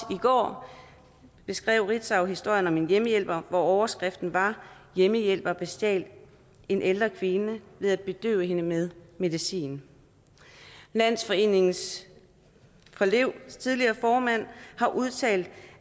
går beskrev ritzau historien om en hjemmehjælper hvor overskriften var hjemmehjælper bestjal en ældre kvinde ved at bedøve hende med medicin landsforeningen levs tidligere formand har udtalt